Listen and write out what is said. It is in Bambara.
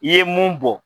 I ye mun bɔ